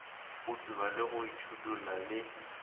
go tsuba go itšhidulla le